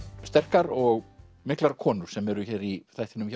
sterkar og miklar konur sem eru hér í þættinum